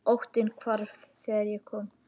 Óttinn hvarf þegar ég kom.